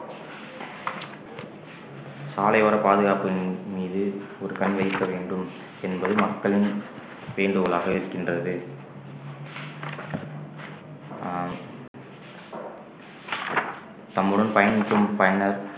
சாலையோர பாதுகாப்பின் மீது ஒரு கண் வைக்க வேண்டும் என்பது மக்களின் வேண்டுகோளாக இருக்கின்றது அஹ் தம்முடன் பயணிக்கும் பயனர்